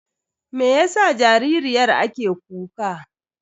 Meyasa jaririyar ake kuka?